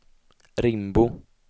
Rimbo